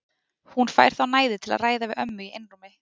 Hún fær þá næði til að ræða við ömmu í einrúmi.